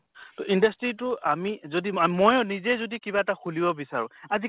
তʼ industry তো আমি যদি ময়ো নিজে যদি কিবা এটা খুলিব বিচাৰোঁ, আজি